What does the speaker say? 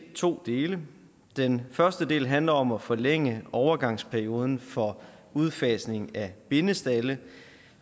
to dele den første del handler om at forlænge overgangsperioden for udfasningen af bindestalde